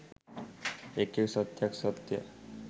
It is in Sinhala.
එක් එක් සත්‍යයක් සත්‍ය,